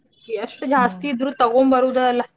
ಎಷ್ಟ ಜಾಸ್ತಿ ಇದ್ರು ತಗೋಂಬರುದ ಅಲ್ಲ.